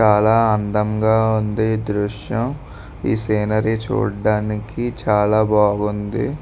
చాలా అందంగా ఉంది ఈ దృశ్యం. ఈ సీనరీ చూడానికి చాలా బాగుంది.